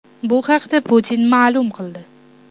Bu haqda Putin ma’lum qildi.